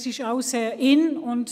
Es ist auch sehr im Trend.